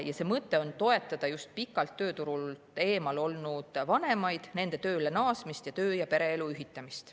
Selle mõte on toetada just pikalt tööturult eemal olnud lapsevanemaid, nende tööle naasmist ning töö- ja pereelu ühitamist.